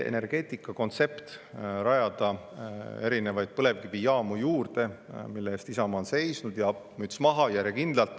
Teie energeetikakontsept on rajada erinevaid põlevkivijaamu juurde, mille eest Isamaa on seisnud, ja müts maha, järjekindlalt.